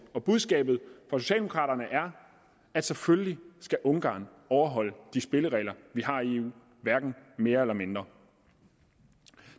budskabet fra socialdemokraterne er at selvfølgelig skal ungarn overholde de spilleregler vi har i eu hverken mere eller mindre